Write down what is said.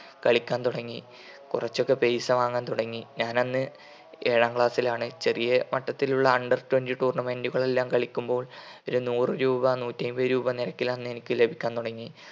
കളിക്കാൻ തുടങ്ങി. കുറച്ചൊക്കെ പൈസ വാങ്ങാൻ തുടങ്ങി. ഞാനന്ന് ഏഴാം ക്ലാസ്സിലാണ്. ചെറിയ വട്ടത്തിലുള്ള under twenty tournament കളെല്ലാം കളിക്കുമ്പോൾ ഒരു നൂറ് രൂപ നൂറ്റി അയ്മ്പത് രൂപ നിരക്കിലന്ന് എനിക്ക് ലഭിക്കാൻ തുടങ്ങി